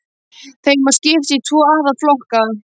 Þeim má skipta í tvo aðalflokka